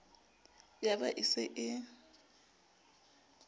ya ba e se e